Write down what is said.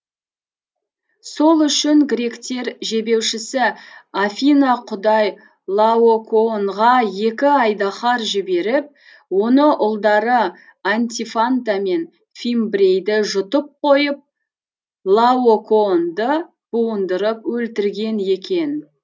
сол үшін гректер жебеушісі афина құдай лаокоонға екі айдаһар жіберіп оны ұлдары антифанта мен фимбрейді жұтып қойып лаокоонды буындырып өлтірген екен